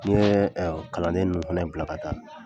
N'i ye kalanden ninnu fɛnɛ bila ka taa